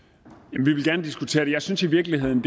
vi vil gerne diskutere det men jeg synes i virkeligheden